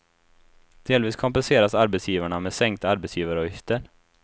Delvis kompenseras arbetsgivarna med sänkta arbetsgivaravgifter.